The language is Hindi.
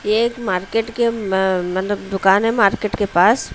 यह एक मार्केट के म मतलब दुकान है मार्केट के पास--